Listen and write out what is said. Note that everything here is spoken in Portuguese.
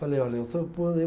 Falei, olha, eu sou